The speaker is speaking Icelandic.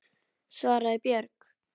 svaraði Björg.